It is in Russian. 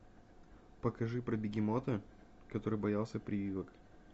покажи про бегемота который боялся прививок